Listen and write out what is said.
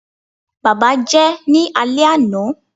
baba jẹ ní ale ana